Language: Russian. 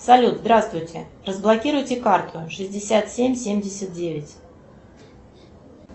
салют здравствуйте разблокируйте карту шестьдесят семь семьдесят девять